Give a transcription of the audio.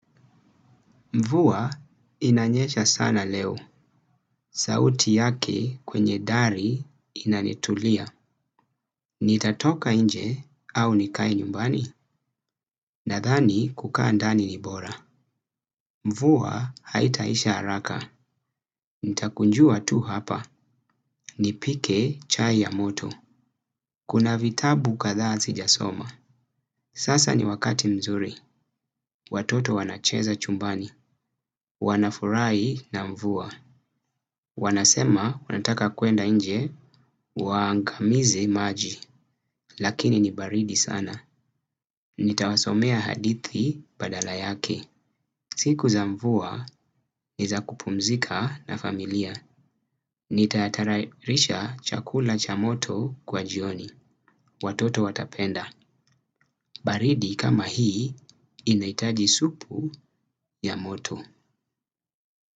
Mvuwa inanyecha sana leo. Sauti yake kwenye dari inanitulia. Nitatoka nje au nikae nyumbani. Nadhani kukaa ndani ni bora. Mvuwa haitaisha haraka. Nitakunjua tu hapa. Nipike chai ya moto. Kuna vitabu kadhaa sijasoma. Sasa ni wakati mzuri. Watoto wanacheza chumbani. Wanafurahi na mvua. Wanasema wanataka kuenda nje waangamize maji. Lakini ni baridi sana. Nitawasomea hadithi badala yake. Siku za mvua, ni za kupumzika na familia. Nitatayarisha chakula cha moto kwa jioni. Watoto watapenda. Baridi kama hii inaitaji supu ya moto.